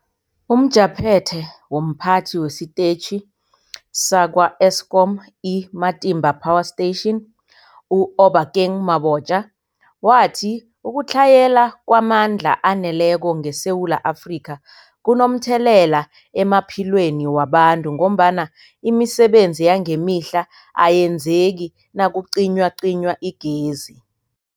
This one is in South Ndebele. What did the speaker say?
UmJaphethe womPhathi wesiTetjhi sakwa-Eskom i-Matimba Power Station u-Obakeng Mabotja wathi ukutlhayela kwamandla aneleko ngeSewula Afrika kunomthelela emaphilweni wabantu ngombana imisebenzi yangemihla ayenzeki nakucinywacinywa igezi.